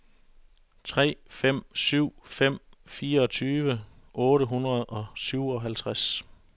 tre fem syv fem fireogtyve otte hundrede og syvoghalvtreds